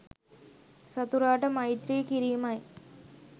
සතුරාට මෛත්‍රී කිරීමයි.